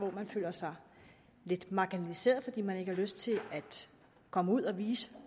at man føler sig lidt marginaliseret fordi man ikke har lyst til at komme ud og vise